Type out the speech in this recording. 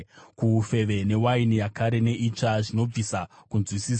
kuufeve, newaini yakare neitsva, zvinobvisa kunzwisisa